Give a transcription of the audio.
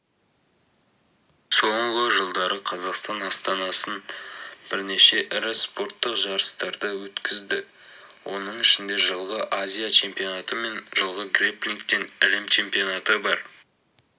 соңғы жылдары қазақстан астанасы бірнеше ірі спорттық жарыстарды өткізді оның ішінде жылғы азия чемпионаты мен жылғы грэпплингтен әлем чемпионаты бар